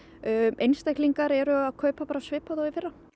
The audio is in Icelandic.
einstaklingar eru að kaupa svipað og í fyrra